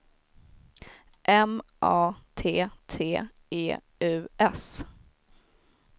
M A T T E U S